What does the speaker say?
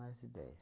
Mais de dez.